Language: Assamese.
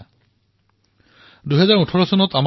ই আমাক গৌৰৱান্বিত কৰিব